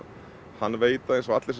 hann veit það eins og allir